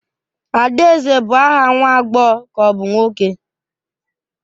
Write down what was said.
Adaeze bụ aha nwa agbọghọ ka ọ bụ nwoke?